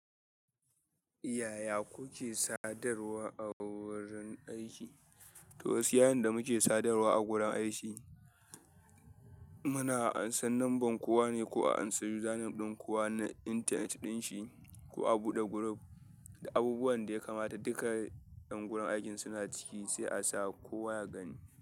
Yaya kuke sadarwa a wurin aiki? To gaskiya yanda muke sadarwa a wuri aiki muna ansan munban kowa ne ko a ansa username din kowa na internet ɗin shi, ko a buɗe group duk abin da ya kamata ƴan gurin aikin suna ciki sai a sa kowa ya gani.